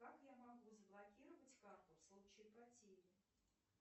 как я могу заблокировать карту в случае потери